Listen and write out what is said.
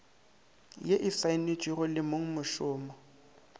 ye e saenetšwego le mongmošomo